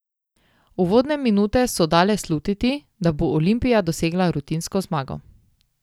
Uvodne minute so dale slutiti, da bo Olimpija dosegla rutinsko zmago.